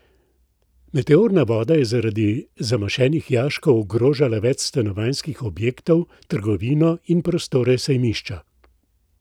Meteorna voda je zaradi zamašenih jaškov ogrožala več stanovanjskih objektov, trgovino in prostore sejmišča.